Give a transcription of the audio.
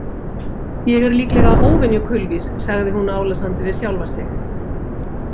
Ég er líklega óvenju kulvís, sagði hún álasandi við sjálfa sig.